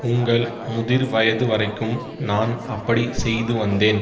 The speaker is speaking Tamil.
உங்கள் முதிர் வயது வரைக்கும் நான் அப்படி செய்து வந்தேன்